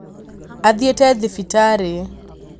Athiĩte thibitarĩ